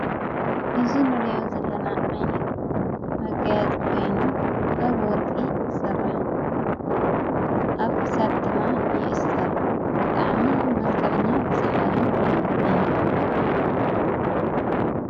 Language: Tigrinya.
እዙይ ንርዮ ዘለና ኣይነት መጋያጺ ኴይኑ ጋብ ወርቂ ይሥራሕ ኣብክሳድ ድማ ይእሥር ብጥዓሚ መልከዕኛን ሰሓብን እዩ።